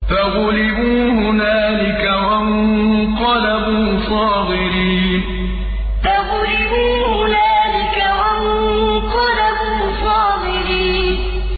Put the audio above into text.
فَغُلِبُوا هُنَالِكَ وَانقَلَبُوا صَاغِرِينَ فَغُلِبُوا هُنَالِكَ وَانقَلَبُوا صَاغِرِينَ